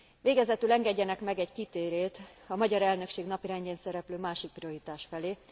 Végezetül engedjenek meg egy kitérőt a magyar elnökség napirendjén szereplő másik prioritás felé.